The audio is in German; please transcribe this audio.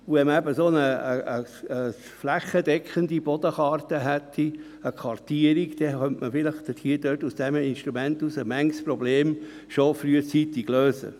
Hätte man eine flächendeckende Bodenkarte, eine Kartierung, könnte man mit diesem Instrument manches Problem schon frühzeitig lösen.